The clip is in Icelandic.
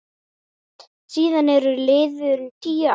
Síðan eru liðin tíu ár.